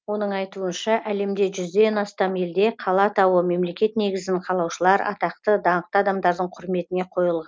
оның айтуынша әлемде жүзден астам елде қала атауы мемлекет негізін қалаушылар атақты даңқты адамдардың құрметіне